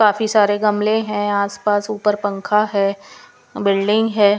काफी सारे गमले हैं आसपास ऊपर पंखा है बिल्डिंग है।